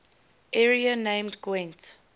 area named gwent